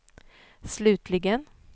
slutligen